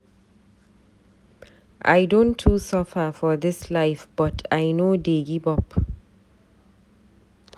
I don too suffer for dis life but I no dey give up.